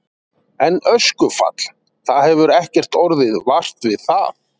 En öskufall, það hefur ekkert orðið vart við það?